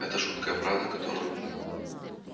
это жуткая правда которую